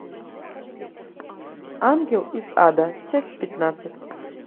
ангел из ада часть пятнадцать